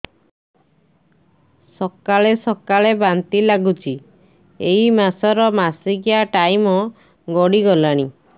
ସକାଳେ ସକାଳେ ବାନ୍ତି ଲାଗୁଚି ଏଇ ମାସ ର ମାସିକିଆ ଟାଇମ ଗଡ଼ି ଗଲାଣି